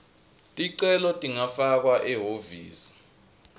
ticelo tingafakwa ehhovisi